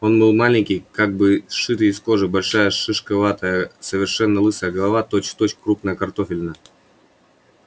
он был маленький как бы сшитый из кожи большая шишковатая совершенно лысая голова точь-в-точь крупная картофелина